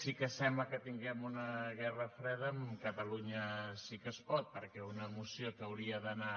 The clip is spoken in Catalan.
sí que sembla que tinguem una guerra freda amb catalunya sí que es pot perquè una moció que hauria d’anar